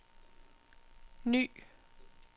ny